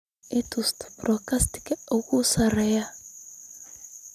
i tus podcast-ka ugu sarreeya